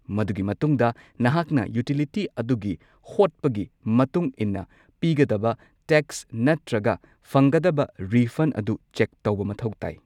ꯃꯗꯨꯒꯤ ꯃꯇꯨꯡꯗ ꯅꯍꯥꯛꯅ ꯌꯨꯇꯤꯂꯤꯇꯤ ꯑꯗꯨꯒꯤ ꯍꯣꯠꯄꯒꯤ ꯃꯇꯨꯡ ꯏꯟꯅ ꯄꯤꯒꯗꯕ ꯇꯦꯛꯁ ꯅꯠꯇ꯭ꯔꯒ ꯐꯪꯒꯗꯕ ꯔꯤꯐꯟꯗ ꯑꯗꯨ ꯆꯦꯛ ꯇꯧꯕ ꯃꯊꯧ ꯇꯥꯏ꯫